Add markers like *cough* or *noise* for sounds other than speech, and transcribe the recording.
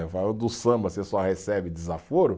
*unintelligible* Do samba, você só recebe desaforo.